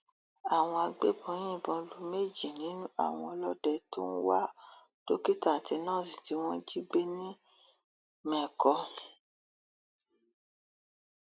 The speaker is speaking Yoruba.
àwọn agbébọn yìnbọn lu méjì nínú àwọn ọlọdẹ tó ń wá dókítà àti nọọsì tí wọn jí gbé nìmẹkọ